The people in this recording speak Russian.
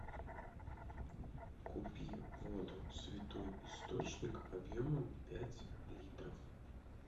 купи воду святой источник объемом пять литров